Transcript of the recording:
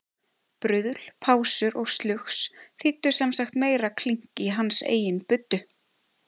Bruðl, pásur og slugs þýddu sem sagt meira klink í hans eigin buddu.